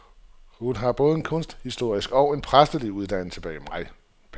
Hun har både en kunsthistorisk og en præstelig uddannelse bag mig.